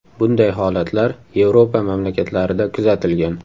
Bunday holatlar Yevropa mamlakatlarida kuzatilgan.